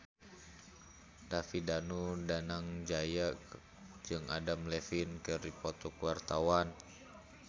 David Danu Danangjaya jeung Adam Levine keur dipoto ku wartawan